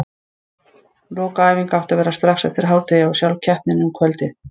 Lokaæfing átti að vera strax eftir hádegi og sjálf keppnin um kvöldið.